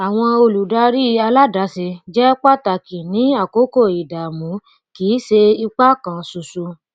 àwọn olùdarí aládàáse jẹ pàtàkì ní àkókò ìdààmú kì í ṣe ìpá kan ṣoṣo